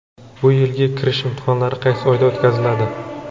Bu yilgi kirish imtihonlari qaysi oyda o‘tkaziladi?.